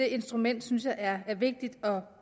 instrument synes jeg er vigtigt